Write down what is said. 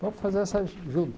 Vamos fazer essas